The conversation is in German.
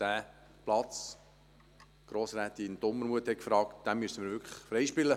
Diesen Platz – Grossrätin Dumermuth hat es angesprochen – müssen wir wirklich freispielen.